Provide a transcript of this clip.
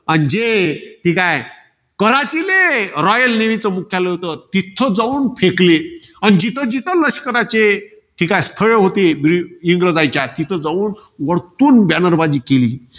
आज जे. ठीकाय. काराचीले, royal navy चं मुख्यालय होतं. तिथे जाऊन फेकले. अन जिथेजिथे लष्कराचे जी काय स्थळं होती. ब~ इंग्रजांच्या. तिकडं जाऊन वरतून banner बाजी केली.